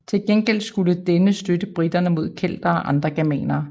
Til gengæld skulle denne støtte briterne mod keltere og andre germanere